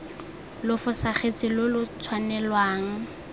lo fosagatse lo lo tshwanelwang